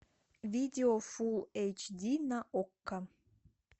видео фул эйч ди на окко